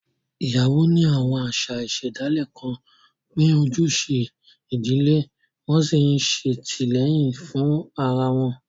Ìyàwó ní àwọn àṣà ìṣẹ̀dálẹ̀ kan pín ojúṣe ìdílé, wọ́n sì ń ṣètìlẹ́yìn fún ara wọn.